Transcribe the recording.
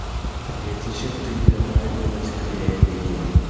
привет зачем ты добавилась к виолетте